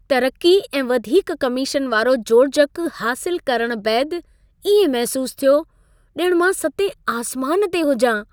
तरक़ी ऐं वधीक कमीशन वारो जोड़जक हासिलु करण बैदि इएं महसूसु थियो, ॼणु मां सतें आसमान ते हुजां।